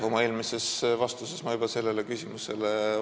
Oma eelmises vastuses ma juba vastasin sellele küsimusele.